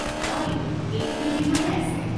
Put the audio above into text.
হয়, এইটো বিল্ডিঙতে আছে।